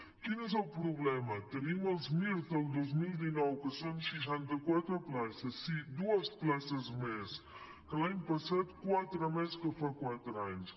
quin és el problema tenim els mir del dos mil dinou que són seixanta quatre places sí dues places més que l’any passat quatre més que fa quatre anys